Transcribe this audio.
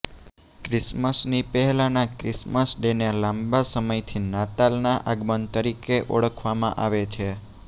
ક્રિસમસની પહેલાના ક્રિસમસ ડેને લાંબા સમયથી નાતાલના આગમન તરીકે ઓળખવામાં આવે છે